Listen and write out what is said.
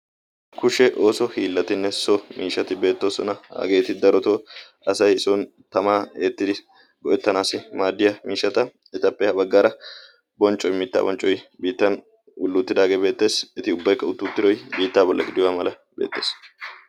kushe ooso hiillatinne so miishati beettoosona hageeti daroto asay son tamaa eettidi go''ettanaassi maaddiyaa miishata etappe ha baggaara bonccoi mittaa bonccoi biittan ulluuttidaagee beettees eti ubbaykka utuuttiroi biittaa bolla gidiywaa mala beexxees